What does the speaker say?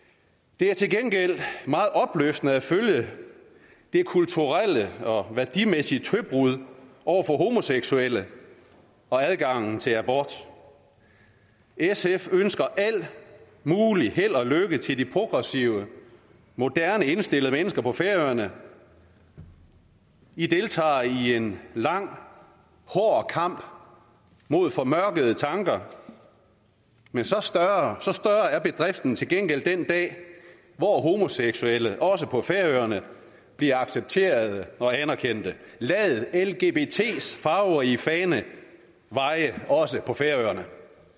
det er til gengæld meget opløftende at følge det kulturelle og værdimæssige tøbrud over for homoseksuelle og adgangen til abort sf ønsker al mulig held og lykke til de progressive moderne indstillede mennesker på færøerne i deltager i en lang hård kamp mod formørkede tanker men så større er bedriften til gengæld den dag hvor homoseksuelle også på færøerne bliver accepteret og anerkendt lad lgbts farverige fane vaje også på færøerne